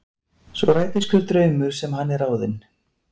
Svo rætist hver draumur sem hann er ráðinn.